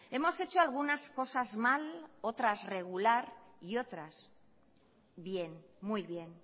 hemos hecho algunas cosas mal otras regular y otras bien muy bien